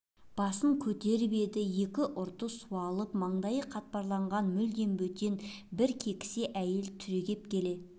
басын көтеріп еді екі ұрты суалып маңдайы қатпарланған мүлдем бөтен бір кекісе әйел түрегеп келе